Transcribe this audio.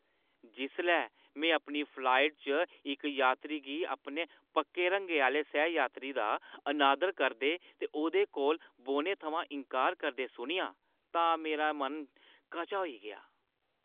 जिसलै में अपनी फ्लाइट च इक यात्री गी अपने पक्के रंगै आह्‌ले सैह-यात्री दा अनादर करदे ते ओह्दे कोल बौह्‌ने थमां इन्कार करदे सुनेआ तां मेरा मन कचा होई गेआ।